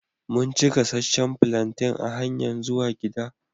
Mun ci gassacen plantain a hanyan zuwan gida.